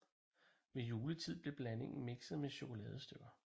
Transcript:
Ved juletid blev blandingen mikset med chokoladestykker